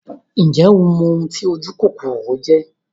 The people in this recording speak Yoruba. Ǹjẹ́ o mọ oun ti ojúkòkòrò jẹ́?